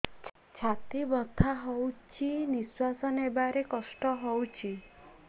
ଛାତି ବଥା ହଉଚି ନିଶ୍ୱାସ ନେବାରେ କଷ୍ଟ ହଉଚି